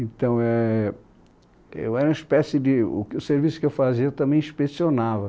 Então éh... Eu era uma espécie de... O o serviço que eu fazia, eu também inspecionava.